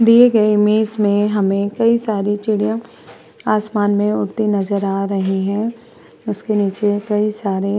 दिए गए इमेज में हमें कई सारी चिड़ियां आसमान में उड़ती नजर आ रही हैं उसके नीचे कई सारे।